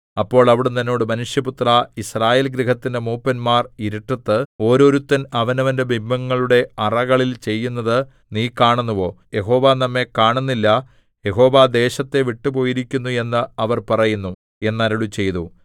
അപ്പോൾ അവിടുന്ന് എന്നോട് മനുഷ്യപുത്രാ യിസ്രായേൽ ഗൃഹത്തിന്റെ മൂപ്പന്മാർ ഇരുട്ടത്ത് ഓരോരുത്തൻ അവനവന്റെ ബിംബങ്ങളുടെ അറകളിൽ ചെയ്യുന്നത് നീ കാണുന്നുവോ യഹോവ നമ്മെ കാണുന്നില്ല യഹോവ ദേശത്തെ വിട്ടു പോയിരിക്കുന്നു എന്ന് അവർ പറയുന്നു എന്നരുളിച്ചെയ്തു